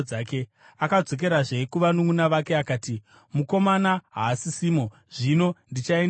Akadzokerazve kuvanunʼuna vake akati, “Mukomana haasisimo! Zvino ndichaendepiko?”